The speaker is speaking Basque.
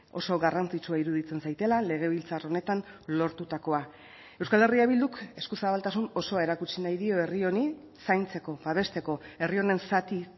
oso garrantzitsua iruditzen zaidala legebiltzar honetan lortutakoa euskal herria bilduk eskuzabaltasun osoa erakutsi nahi dio herri honi zaintzeko babesteko herri honen zati